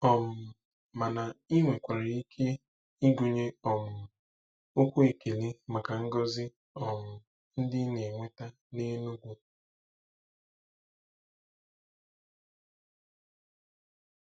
um Mana ị nwekwara ike ịgụnye um okwu ekele maka ngọzi um ndị ị na-enweta n'Enugu.